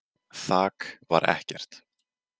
Þak var ekkert.